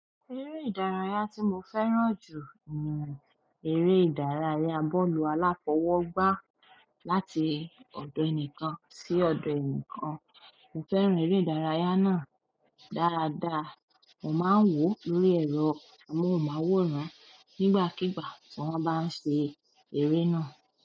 Eré ìdárayá tí mo fẹ́ràn jù ni eré ìdárayá bọ́ọ̀lù aláfọwọ́gbá. Láti ọ̀dọ̀ ẹnìkan sí ọ̀dọ̀ ẹnìkan, mo fẹ́ràn eré ìdárayá náà dáradára. Mo máa ń wòó lórí ẹ̀rọ amóhùnmáwòrán nígbàkígbà tí wọ́n bá ń ṣe eré náà.